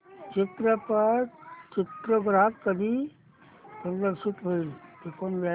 चित्रपट चित्रपटगृहात कधी प्रदर्शित होईल